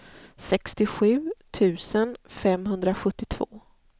sextiosju tusen femhundrasjuttiotvå